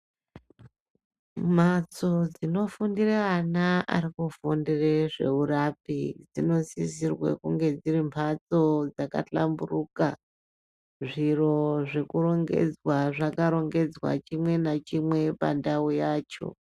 Mhatso dzinofundire ana ari kufundire zveurapi dzinosisirwa kuti dziri mhatsoo hlamburuka, zviro zvakarongedzwa, zvakarongedzwa chimwe nachimwe pandauu yacho.